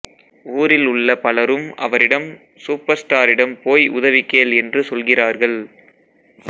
ஊரில் உள்ள பலரும் அவரிடம் சூப்பர் ஸ்டாரிடம் போய் உதவி கேள் என்று சொல்கிறார்கள்